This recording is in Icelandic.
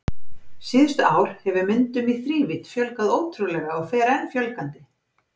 Síðustu ár hefur myndum í þrívídd fjölgað ótrúlega og fer enn fjölgandi.